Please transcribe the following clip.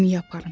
Gəmiyə aparın.